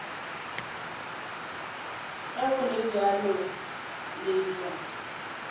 ge go le bjalo letšwa